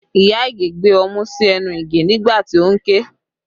Iya Ige gbé ọmú sí ẹnu Ige nígbà tí ó ń ké